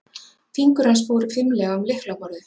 Fingur hans fóru fimlega um lyklaborðið.